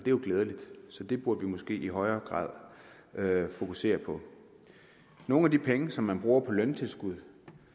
jo glædeligt så det burde vi måske i højere grad fokusere på nogle af de penge som man bruger på løntilskud